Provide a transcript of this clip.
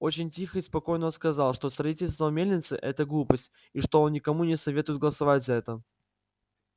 очень тихо и спокойно он сказал что строительство мельницы это глупость и что он никому не советует голосовать за это